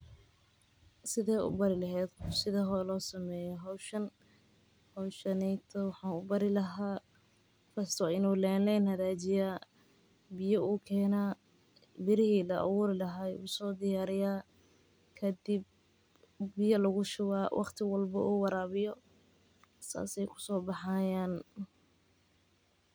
Sidee ubari leheed qof sidha loo sameeyo tababar kusaabsan badbaadada caruurta taas oo mujineyso muhiimada aay ledahay waxaa waye inaad sarif ooga baahatid.